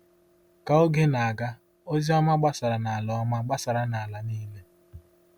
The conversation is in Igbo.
Ka oge na-aga, ozi ọma gbasara n’ala ọma gbasara n’ala niile.